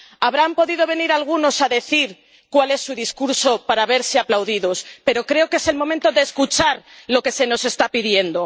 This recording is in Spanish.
Habrán podido venir algunos a decir cuál es su discurso para verse aplaudidos, pero creo que es el momento de escuchar lo que se nos está pidiendo.